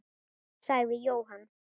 sagði Jóhann.